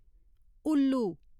उल्लू